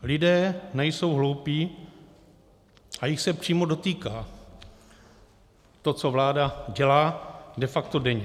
Lidé nejsou hloupí a jich se přímo dotýká to, co vláda dělá de facto denně.